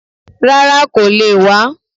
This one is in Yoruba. Rárá, kò le è wá